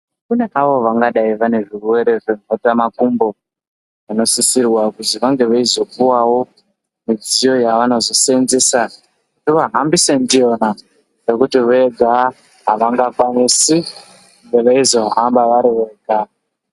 Kune avo vangadai vaine zvirwere zvemhetamakumbo vanosisirwa kuzi vange veizopuvavo midziyo yavanozosenzesa kuti vahambise ndiyona. Ngekuti vega havangakwanisi veizohamba vari vega.